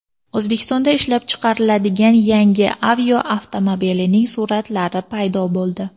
O‘zbekistonda ishlab chiqariladigan yangi Aveo avtomobilining suratlari paydo bo‘ldi.